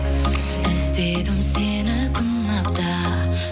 іздедім сені күн апта